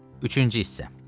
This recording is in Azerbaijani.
Üçüncü hissə.